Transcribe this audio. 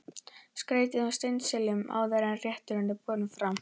Skreytið með steinseljunni áður en rétturinn er borinn fram.